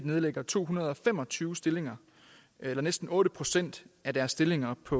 nedlægger to hundrede og fem og tyve stillinger eller næsten otte procent af deres stillinger på